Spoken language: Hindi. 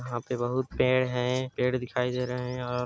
यहाँ पे बहुत पेड़ है पेड़ दिखाई दे रहे है और--